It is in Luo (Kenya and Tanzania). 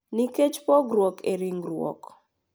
Nikech pogruok e ringruok.